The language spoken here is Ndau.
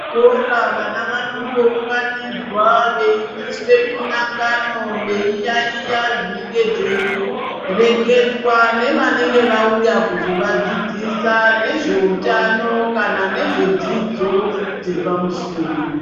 Kuzvikora vana vanombounganidzwa veiitiswe mihlangano veiyaiya zvinenge zveireketwa. Nevanenge vauya kuzovadzidzisa nezveutano kana nezvedzidzo dzepamusoro.